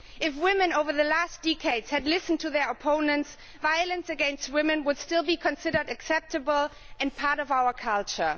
If women over the last decades had listened to their opponents, violence against women would still be considered acceptable and part of our culture.